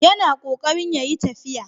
Yana ƙoƙarin ya yi tafiya.